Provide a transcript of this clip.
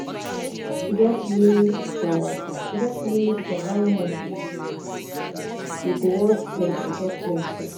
get limit for get limit for how much you wan spend on top flexing